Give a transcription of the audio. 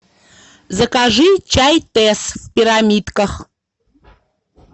закажи чай тесс в пирамидках